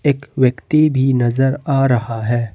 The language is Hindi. एक व्यक्ति भी नजर आ रहा है।